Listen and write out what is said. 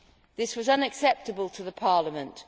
This was unacceptable to Parliament.